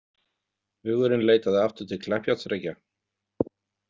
Hugurinn leitaði aftur til Kleppjárnsreykja.